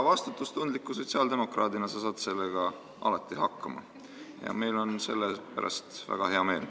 Vastutustundliku sotsiaaldemokraadina sa saad sellega alati hakkama ja meil on selle üle väga hea meel.